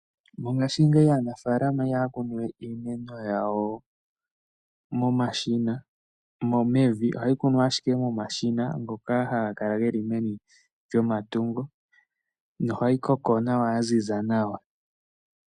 Mongashingeyi aanafaalama iyaha kunu we iimeno yawo mevi ohayi kunwa ashike momashina ngoka haga kala geli meni lyomatungo na ohayikoko nawa yaziza nawa.